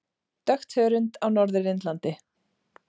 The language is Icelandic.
Dökkt hörund á Norður Indlandi.